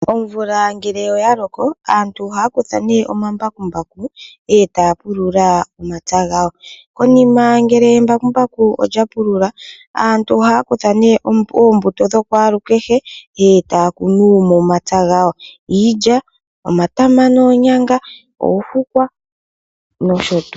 Omvula ngele oya loko aantu ohaya kutha nee omambakumbaku etaya pulula omapya gawo. Konima ngele embakumbaku lya pulula aantu ohaya kutha nee oombuto dhokwalukehe, ndele etaya kunu momapya gawo, iilya, omatama noonyanga, oofukwa, nosho tuu.